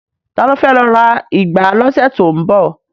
Ta ló fẹ́ lọ ra ìgbá lọ́sẹ̀ tó ń bọ̀?